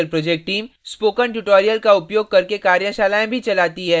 spoken tutorial project team spoken tutorial का उपयोग करके कार्यशालाएँ भी चलाती है